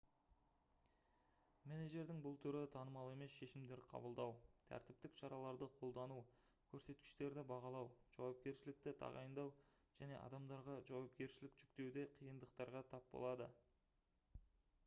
менеджердің бұл түрі танымал емес шешімдер қабылдау тәртіптік шараларды қолдану көрсеткіштерді бағалау жауапкершілікті тағайындау және адамдарға жауапкершілік жүктеуде қиындықтарға тап болады